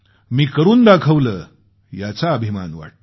मी करून दाखवलं याचा अभिमान वाटतो